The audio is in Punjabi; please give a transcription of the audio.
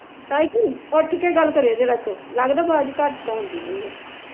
ਤਾਈ ਜੀ ਉਠ ਕੇ ਗੱਲ ਕਰਿਓ ਜ਼ਰਾ ਕੁ, ਲਗ਼ਦਾ ਆਵਾਜ਼ ਘੱਟ ਆਉਂਦੀ ਪਈ ਆ